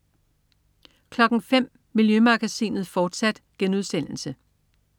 05.00 Miljømagasinet, fortsat*